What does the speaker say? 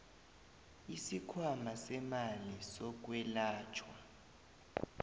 isikhwama semali yokwelatjhwa